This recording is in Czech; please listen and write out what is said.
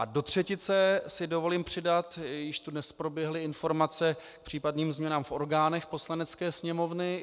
A do třetice si dovolím přidat - již tu dnes proběhly informace k případným změnám v orgánech Poslanecké sněmovny.